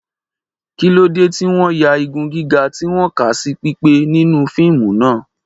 Kí ló dé tí wọ́n ya igun gíga tí wọ́n kà sí pípé nínú fíìmù náà?